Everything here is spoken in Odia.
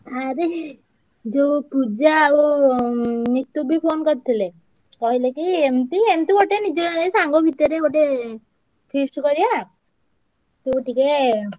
ଆରେ ଯୋଉ ପୂଜା ଆଉ ଉଁ ନିତୁ ବି phone କରିଥିଲେ। କହିଲେ କି ଏମତି ଏମତି ଗୋଟେ ନିଜ ନିଜ ସାଙ୍ଗ ଭିତରେ ଗୋଟେ feast କରିଆ। ତୁ ଟିକେ।